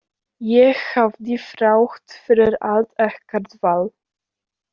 Ég hafði þrátt fyrir allt ekkert val.